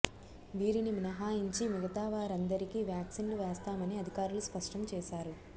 వీరిని మినహాయించి మిగతా వారందరికీ వ్యాక్సిన్లు వేస్తామని అధికారులు స్పష్టం చేశారు